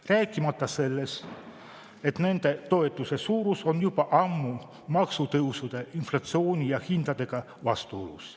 Rääkimata sellest, et toetuse suurus on juba ammu maksutõusude, inflatsiooni ja hindadega vastuolus.